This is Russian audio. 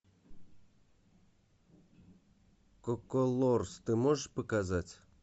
коколорс ты можешь показать